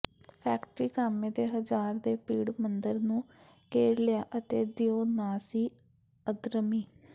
factory ਕਾਮੇ ਦੇ ਹਜ਼ਾਰ ਦੇ ਭੀੜ ਮੰਦਰ ਨੂੰ ਘੇਰ ਲਿਆ ਅਤੇ ਦਿਉ ਨਾ ਸੀ ਅਧਰਮੀ